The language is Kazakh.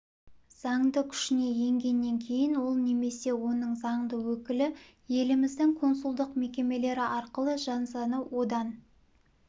заңды күшіне енгеннен кейін ол немесе оның заңды өкілі еліміздің консулдық мекемелері арқылы жазаны одан